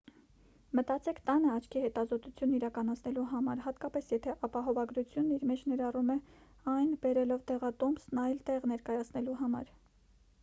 մտածեք տանը աչքի հետազոտություն իրականացնելու մասին հատկապես եթե ապահովագրությունն իր մեջ ներառում է այն բերելով դեղատոմսն այլ տեղ ներկայացնելու համար